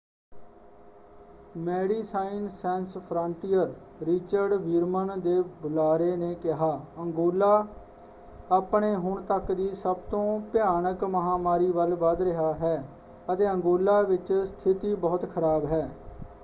Medicine Sans Frontieres Richard Veerman ਦੇ ਬੁਲਾਰੇ ਨੇ ਕਿਹਾ: ਅੰਗੋਲਾ ਆਪਣੇ ਹੁਣ ਤੱਕ ਦੀ ਸਭ ਤੋਂ ਭਿਆਨਕ ਮਹਾਂਮਾਰੀ ਵੱਲ ਵਧ ਰਿਹਾ ਹੈ ਅਤੇ ਅੰਗੋਲਾ ਵਿੱਚ ਸਥਿਤੀ ਬਹੁਤ ਖਰਾਬ ਹੈ।